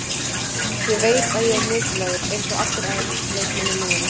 Ég veit að ég er mikilvægur, eins og allir aðrir leikmenn í liðinu.